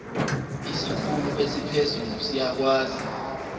isikhulu esiphezulu siyakwazi